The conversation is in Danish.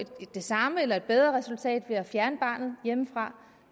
det samme eller et bedre resultat ved at fjerne barnet hjemmefra